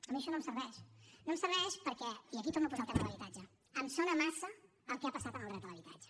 a mi això no em serveix no em serveix perquè i aquí torno a posar el tema de l’habitatge em sona massa al que ha passat amb el dret a l’habitatge